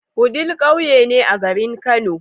Wudil ƙauye ne a garin kano